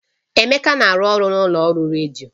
Emeka na-arụ ọrụ na ụlọ ọrụ redio